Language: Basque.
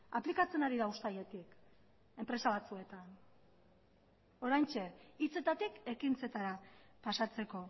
aplikatzen ari da uztailetik enpresa batzuetan oraintxe hitzetatik ekintzetara pasatzeko